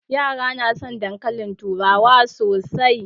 Yara na son dankalin turawa sosai